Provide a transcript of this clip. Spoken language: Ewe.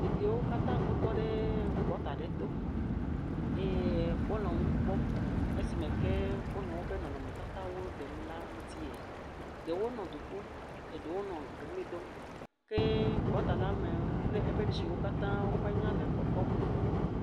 Ɖeviwo katã wotɔ ɖe gɔta aɖe to eye wonɔ nu kpem esime ke wonɔ nu ɖem le woƒe nɔnɔmetata la ŋutie. Ɖewo nɔ du ƒum, ɖewo nɔ ʋli dom. Ke gɔtala me kple eƒe tsiwo katã menyea le kpɔkpɔm o.